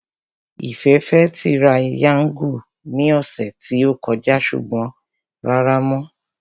Ìfẹ́ fẹ́ tirayáńgù ní ọ̀sẹ̀ tí ó kọjá ṣùgbọ́n rárá mọ́